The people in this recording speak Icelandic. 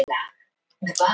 En það er langt síðan.